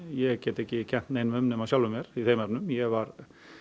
ég get ekki kennt neinum um nema sjálfum mér ég var